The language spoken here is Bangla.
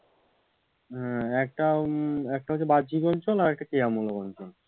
হম একটা উম একটা হচ্ছে যে বাহ্যিক অঞ্চল আরেকটি ক্রিয়ামূলক অঞ্চল।